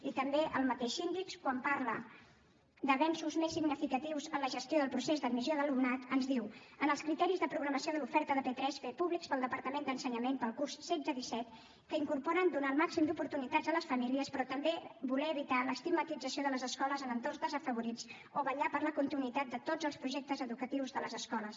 i també el mateix síndic quan parla d’avenços més significatius en la gestió del procés d’admissió d’alumnat ens diu els criteris de programació de l’oferta de p3 fets públics pel departament d’ensenyament per al curs setze disset incorporen donar el màxim d’oportunitats a les famílies però també voler evitar l’estigmatització de les escoles en entorns desafavorits o vetllar per la continuïtat de tots els projectes educatius de les escoles